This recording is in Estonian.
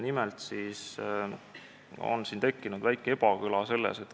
Nimelt on tekkinud väike ebakõla.